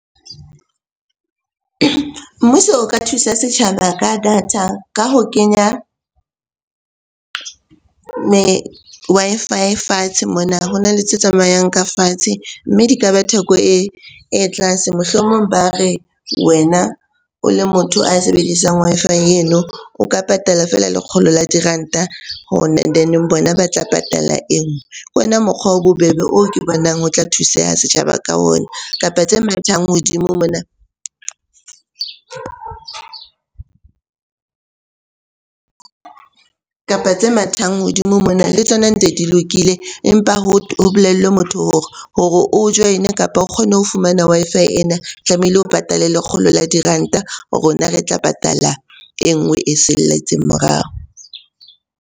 Mmuso o ka thusa setjhaba ka data ka ho kenya Wi-Fi fatshe mona. Ho na le tse tsamayang ka fatshe, mme di ka ba theko e tlase. Mohlomong ba re wena o le motho a sebedisang Wi-Fi eno, o ka patala feela lekgolo la diranta and then bona ba tla patala e nngwe. Ke ona mokgwa o bobebe oo ke bonang ho tla thuseha setjhaba ka mona, kapa tse mathang hodimo mona kapa tse mathang hodimo mona le tsona ntse di lokile. Empa ho bolellwe motho oo hore o join-e, kapa o kgone ho fumana Wi-Fi ena tlamehile o patale lekgolo la diranta. Rona re tla patala e nngwe e salletseng morao.